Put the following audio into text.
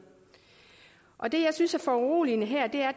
og det jeg synes er foruroligende her